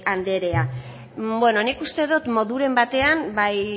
anderea beno nik uste dut moduren batean bai